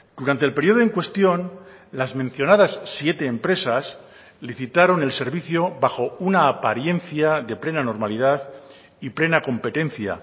durante el periodo en cuestión las mencionadas siete empresas licitaron el servicio bajo una apariencia de plena normalidad y plena competencia